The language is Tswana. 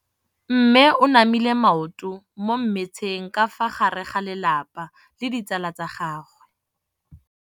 Mme o namile maoto mo mmetseng ka fa gare ga lelapa le ditsala tsa gagwe.